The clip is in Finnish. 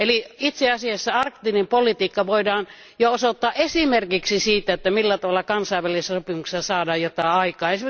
Eli itse asiassa arktinen politiikka voidaan jo osoittaa esimerkiksi siitä, että millä tavalla kansainvälisillä sopimuksilla saadaan jotain aikaan.